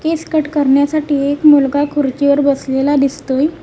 केस cut करण्यासाठी एक मुलगा खुर्चीवर बसलेला दिसतोय.